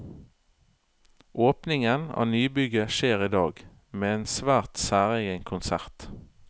Åpningen av nybygget skjer i dag, med en svært særegen konsert.